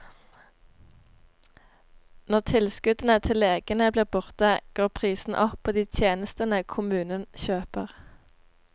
Når tilskuddene til legene blir borte, går prisene opp på de tjenestene kommunen kjøper.